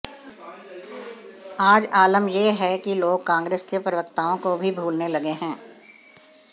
आज आलम यह है कि लोग कांग्रेस के प्रवक्ताओं को भी भूलने लगे हैं